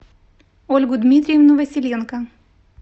ольгу дмитриевну василенко